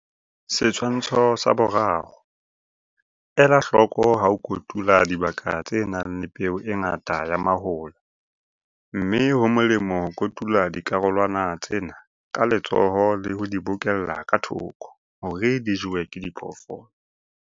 Setshwantsho sa 3. Ela hloko ha o kotula dibaka tse nang le peo e ngata ya mahola, mme ho molemo ho kotula dikarolwana tsena ka letsoho le ho di bokella ka thoko hore di jewe ke diphoofolo.